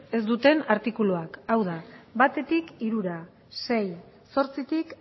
ez duten artikuluak hau da batetik hirura sei zortzitik